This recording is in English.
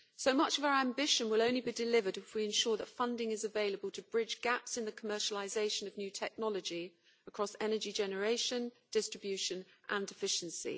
So much of our ambition will only be delivered if we ensure that funding is available to bridge gaps in the commercialisation of new technology across energy generation, distribution and efficiency.